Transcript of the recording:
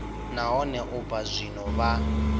nahone u bva zwino vha